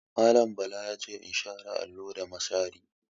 Mallam Bala ya ce in share allon da mashari.